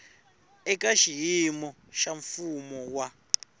eka xiyimo xa mfumo wa